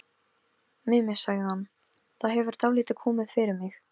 Hún var alltaf dálítið ærslasöm, hún Gerður.